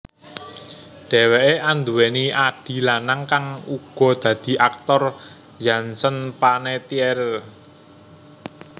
Dheweké anduwèni adhi lanang kang uga dadi aktor Jansen Panettiere